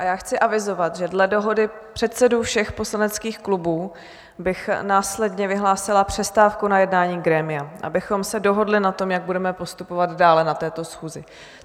A já chci avizovat, že dle dohody předsedů všech poslaneckých klubů bych následně vyhlásila přestávku na jednání grémia, abychom se dohodli na tom, jak budeme postupovat dále na této schůzi.